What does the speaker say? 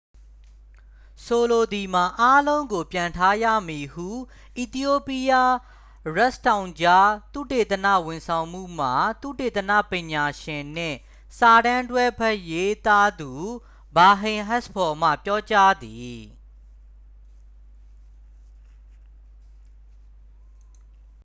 ဆိုလိုသည်မှာ အားလုံးကိုပြန်ထားရမည် ဟု အီသီယိုးပီးယား ရစ်ဖ်တောင်ကြား သုတေသနဝန်ဆောင်မှုမှ သုတေသနပညာရှင်နှင့် စာတမ်းတွဲဘက်ရေးသားသူ ဘာဟိန်းအက်စ်ဖောမှ ပြောကြားသည်